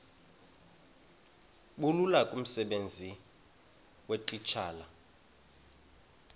bulula kumsebenzi weetitshala